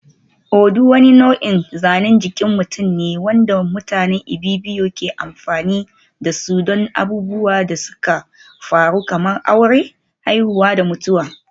Odung wani nau'in zanen jikin mutum ne wanda mutanen Ibibio ke amfani da su don abubuwan da suka faru kamar aure, haihuwa da mutuwa.